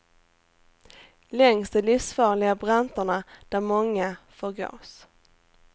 Längs de livsfarliga branterna där många förgås.